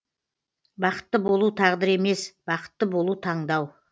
бақытты болу тағдыр емес бақытты болу таңдау